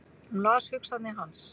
Hún las hugsanir hans!